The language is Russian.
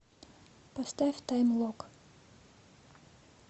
поставь тайм лок